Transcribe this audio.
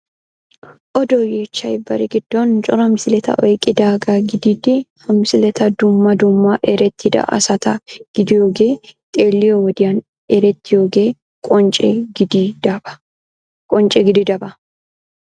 Odo yeechchay bari giddon cora misileta oyqqidaagaa gididi ha misileti dumma dumma erettida asata gidiyogee xeelliyo wodiyan erettiyogee qoncce gididaba.